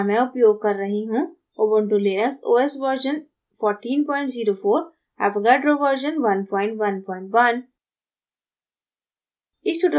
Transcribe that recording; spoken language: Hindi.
यहाँ मैं उपयोग कर रही हूँ ubuntu linux os version 1404